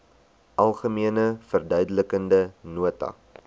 algemene verduidelikende nota